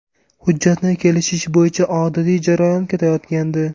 Hujjatni kelishish bo‘yicha odatiy jarayon ketayotgandi.